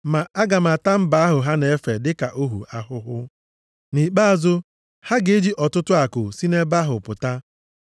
Ma aga m ata mba ahụ ha na-efe dịka ohu ahụhụ. Nʼikpeazụ, ha ga-eji ọtụtụ akụ si nʼebe ahụ pụta.